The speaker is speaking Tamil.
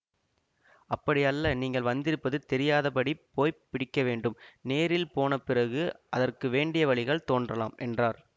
அப்படி அல்ல நீங்கள் வந்திருப்பது தெரியாதபடி போய் பிடிக்கவேண்டும் நேரில் போன பிறகு அதற்கு வேண்டிய வழிகள் தோன்றலாம் என்றார்